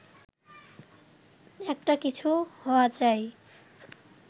একটা কিছু হওয়া চাই